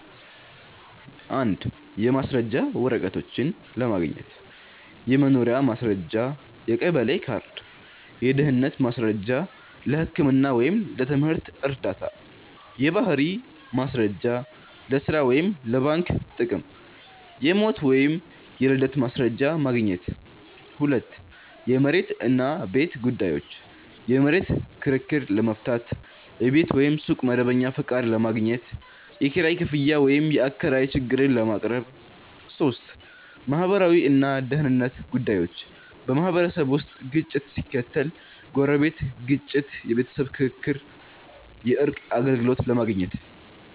1. የማስረጃ ወረቀቶች ለማግኘት · የመኖሪያ ማስረጃ (የቀበሌ ካርድ) · የድህነት ማስረጃ (ለህክምና ወይም ለትምህርት ዕርዳታ) · የባህሪ ማስረጃ (ለሥራ ወይም ለባንክ ጥቅም) · የሞት ወይም የልደት ማስረጃ ማግኘት 2. የመሬት እና ቤት ጉዳዮች · የመሬት ክርክር ለመፍታት · የቤት ወይም ሱቅ መደበኛ ፈቃድ ለማግኘት · የኪራይ ክፍያ ወይም የአከራይ ችግር ለማቅረብ 3. ማህበራዊ እና ደህንነት ጉዳዮች · በማህበረሰብ ውስጥ ግጭት ሲከሰት (ጎረቤት ግጭት፣ የቤተሰብ ክርክር) የእርቅ አገልግሎት ለማግኘት